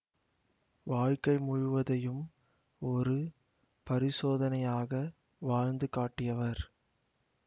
வாழ்க்கை முழுவதையும் ஒரு பரிசோதனையாக வாழ்ந்து காட்டியவர்